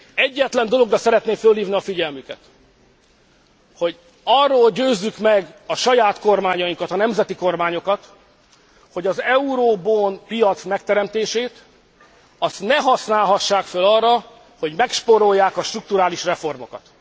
Egyetlen dologra szeretném fölhívni a figyelmüket, hogy arról győzzük meg a saját kormányainkat, a nemzeti kormányokat, hogy az euro bond piac megteremtését azt ne használhassák föl arra, hogy megspórolják a strukturális reformokat.